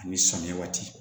Ani samiyɛ waati